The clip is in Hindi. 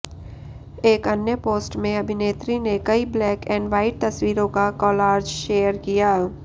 एक अन्य पोस्ट में अभिनेत्री ने कई ब्लैक एंड व्हाइट तस्वीरों का कॉलार्ज शेयर किया